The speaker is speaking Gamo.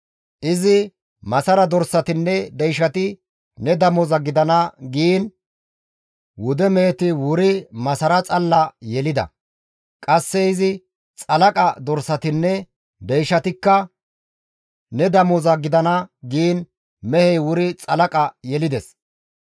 Izi, ‹Masara dorsatinne deyshati ne damoza gidana› giin wude meheti wuri masara xalla yelida; qasse izi, ‹Xalaqa dorsatinne deyshatikka ne damoza gidana› giin mehey wuri xalaqa yelides.